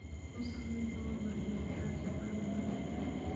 U samee tababar joogto ah shaqaalahaaga.